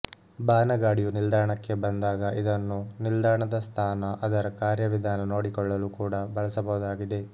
ಬಾನಗಾಡಿಯು ನಿಲ್ದಾಣಕ್ಕೆ ಬಂದಾಗ ಇದನ್ನು ನಿಲ್ದಾಣದ ಸ್ಥಾನಅದರ ಕಾರ್ಯ ವಿಧಾನ ನೋಡಿಕೊಳ್ಳಲು ಕೂಡ ಬಳಸಬಹುದಾಗಿದೆ